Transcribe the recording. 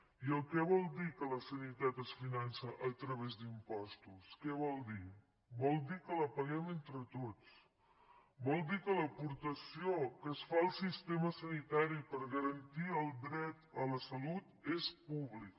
i què vol dir que la sanitat a catalunya es finança a través d’impostos què vol dir vol dir que la paguem entre tots vol dir que l’aportació que es fa al sistema sanitari per garantir el dret a la salut és pública